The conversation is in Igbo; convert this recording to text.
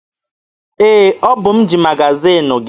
Ee, ọ bụ m ji magaziini gị.